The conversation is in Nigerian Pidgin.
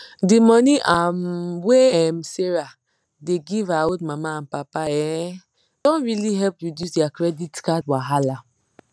the money um wey um sarah dey give her old mama and papa um don really help reduce their credit card wahala